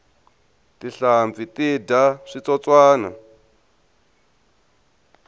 tinhlampfi ti dya switsotswani